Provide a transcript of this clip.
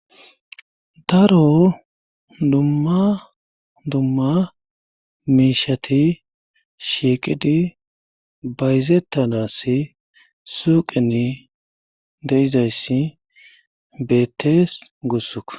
daro dumma dumma miishati shiiqidi bayzettanassi suuqeni de7izayssi beettees gussuko